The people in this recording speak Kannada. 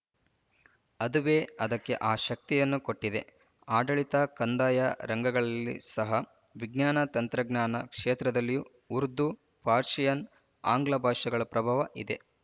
ಅದುವೇ ಅದಕ್ಕೆ ಆ ಶಕ್ತಿಯನ್ನು ಕೊಟ್ಟಿದೆ ಆಡಳಿತ ಕಂದಾಯ ರಂಗಗಳಲ್ಲಿ ಸಹ ವಿಜ್ಞಾನ ತಂತ್ರಜ್ಞಾನ ಕ್ಷೇತ್ರದಲ್ಲಿಯೂ ಉರ್ದು ಪರ್ಶಿಯನ್ ಆಂಗ್ಲಭಾಷೆಗಳ ಪ್ರಭಾವ ಇದೆ